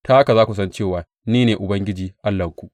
Ta haka za ku san cewa ni ne Ubangiji Allahnku.